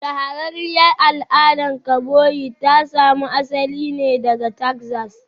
Shahararriyar al'adar kaboyi ta samo asali ne daga Texas